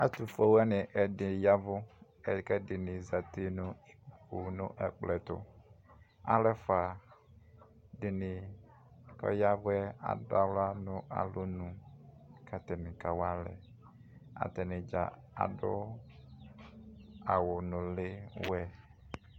Atufue wani ɛdi yavʋ Kʋ ɛdini zati nʋ ikpoku nʋ ɛkplɔ'ɛtuAlu ɛfua dini kayavuɛ, adʋ aɣla nʋ alɔnuKatani kawalɛ Atani dza aduawu nili wɛ